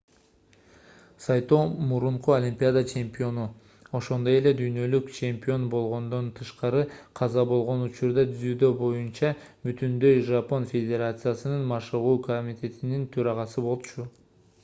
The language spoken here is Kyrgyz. сайто мурунку олимпиада чемпиону ошондой эле дүйнөлүк чемпион болгондон тышкары каза болгон учурда дзюдо боюнча бүтүндөй жапон федерациясынын машыгуу комитетинин төрагасы болчу